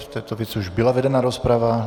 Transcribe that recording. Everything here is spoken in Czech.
V této věci už byla vedena rozprava.